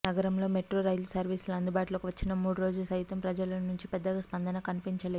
నగరంలో metro rail సర్వీసులు అందుబాటులోకి వచ్చిన మూడు రోజు సైతం ప్రజల నుంచి పెద్దగా స్పందన కనిపించలేదు